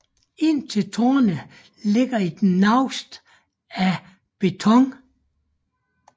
Ind til tårnet ligger et naust af beton